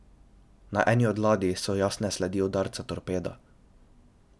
Na eni od ladij so jasne sledi udarca torpeda.